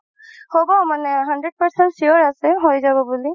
হ'ব মানে hundred percent sure আছে হয় যাব বুলি